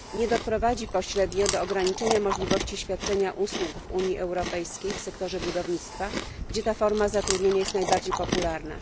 doprowadzi pośrednio do ograniczenia możliwości świadczenia usług w Unii Europejskiej w sektorze budownictwa, gdzie ta forma zatrudnienia jest najbardziej popularna?